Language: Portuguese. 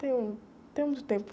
Tem um, não tem muito tempo.